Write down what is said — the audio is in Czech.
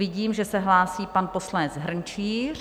Vidím, že se hlásí pan poslanec Hrnčíř.